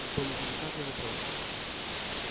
какой неделикатный вопрос